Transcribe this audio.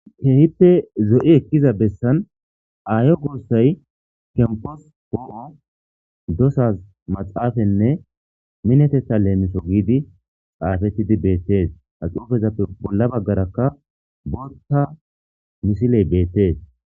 keehippe zo7i ekkiza bessan aayo goossay kempos poo7o dosaz maxaafenne minetetha leemiso giidi xaafettidi beettees axoofezappe bolla baggarakka bolta misiley beettees